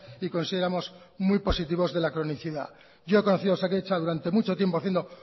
y consideramos muy positivos de la cronicidad yo he conocido a osakidetza durante mucho tiempo haciendo